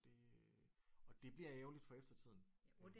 Og det øh og det bliver ærgerligt for eftertiden